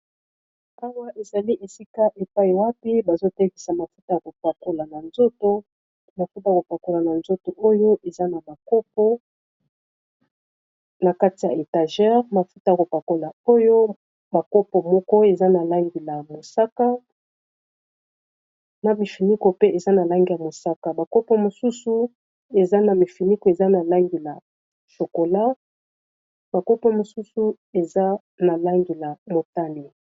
awa ezali esika epai wapi bazotekisa mafuta y kopakolaazomafuta kopakola na nzoto oyo eza na kopo na kati ya étagere mafuta kopakola oyo bakopo moko eza na langia mosaka na mifiniko pe eza na langi ya mosaka bakopo mosusu eza na mifiniko eza na langi la shokola bakopo mosusu eza na langi la motani